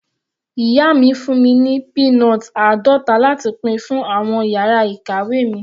Ìyá mi fún mi ní peanut àádọta láti pín fún àwọn yàrá ìkàwé mi.